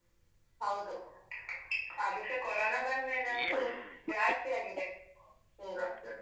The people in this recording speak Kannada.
ಹೌದು ಅದುಸ ಕೊರೋನ ಬಂದ್ಮೇಲಂತೂ ಜಾಸ್ತಿ ಆಗಿದೆ ಈಗ.